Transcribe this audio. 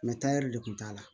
de kun t'a la